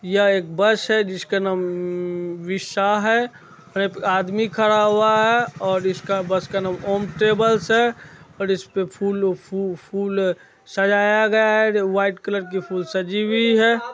यह एक बस है जिसका नाम विशा है यहां पे आदमी खड़ा हुआ है और इसका बस का नाम ओम ट्रेवल्स है और इसपे फूल फू-फूल सजाया गया है वाइट कलर की फूल सजी हुई है।